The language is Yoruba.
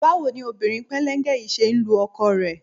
Báwo ni obìnrin pẹ́lẹ́ńgẹ yìí ṣe ń lu ọkọ rẹ?